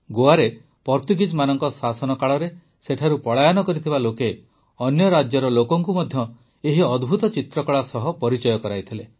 ଗୋଆରେ ପର୍ତ୍ତୁଗୀଜମାନଙ୍କ ଶାସନ କାଳରେ ସେଠାରୁ ପଳାୟନ କରିଥିବା ଲୋକେ ଅନ୍ୟ ରାଜ୍ୟର ଲୋକଙ୍କୁ ମଧ୍ୟ ଏହି ଅଦ୍ଭୁତ ଚିତ୍ରକଳା ସହ ପରିଚୟ କରାଇଥିଲେ